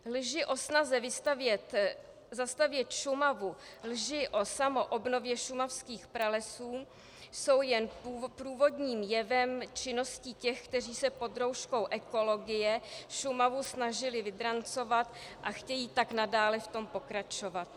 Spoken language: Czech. Lži o snaze zastavět Šumavu, lži o samoobnově šumavských pralesů jsou jen průvodním jevem činnosti těch, kteří se pod rouškou ekologie Šumavu snažili vydrancovat a chtějí tak nadále v tom pokračovat.